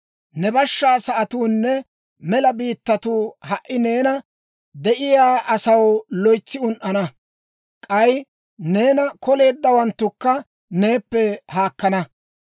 «Ne bashshaa sa'atuunne mela biittatuu ha"i neenan de'iyaa asaw loytsi un"ana; k'ay neena koleeddawanttukka neeppe haakkana.